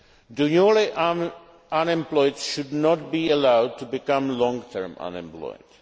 The newly unemployed should not be allowed to become long term unemployed.